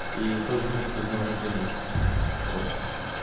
и тот же смысл с днём рождения вот